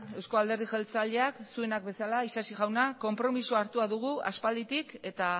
eusko alderdi jeltzaleak zuenak bezala isasi jauna konpromisoa hartua dugu aspalditik eta